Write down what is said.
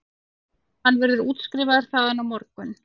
Hann verður útskrifaður þaðan á morgun